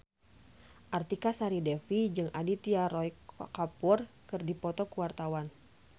Artika Sari Devi jeung Aditya Roy Kapoor keur dipoto ku wartawan